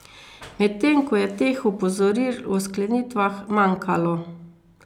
Medtem ko je teh opozoril o sklenitvah manjkalo.